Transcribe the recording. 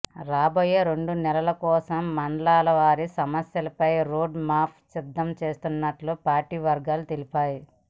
రాబోయే రెండు నెలల కోసం మండలాల వారీ సమస్యలపై రోడ్ మ్యాప్ సిద్ధం చేస్తున్నట్లు పార్టీ వర్గాలు తెలిపాయ్